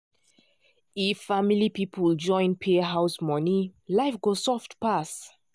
if family people join pay house money life go soft pass.